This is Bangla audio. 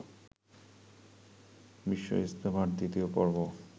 বিশ্ব ইজতেমার দ্বিতীয় পর্ব